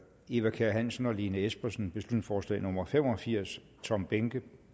eva kjer hansen og lene espersen beslutningsforslag nummer b fem og firs tom behnke